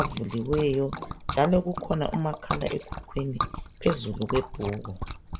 avuliweyo njalo kukhona umakhala ekhukhwini phezulu kwebhuku.